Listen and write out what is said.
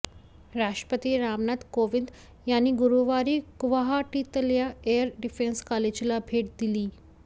राष्ट्रपती रामनाथ कोविंद यांनी गुरूवारी गुवाहाटीतल्या एअर डिफेंस कॉलेजला भेट दिली